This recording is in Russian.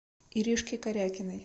иришке корякиной